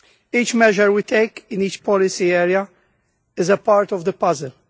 Each measure we take in each policy area is a part of the puzzle.